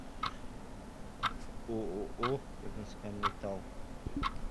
ооо нск металл